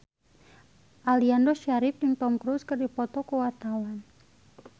Aliando Syarif jeung Tom Cruise keur dipoto ku wartawan